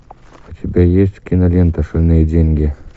у тебя есть кинолента шальные деньги